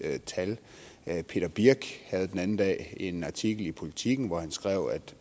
tal peter birch havde den anden dag en artikel i politiken hvor han skrev at